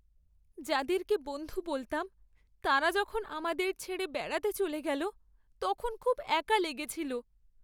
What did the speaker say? যাদেরকে বন্ধু বলতাম তারা যখন আমাদের ছেড়ে বেড়াতে চলে গেলো তখন খুব একা লেগেছিল।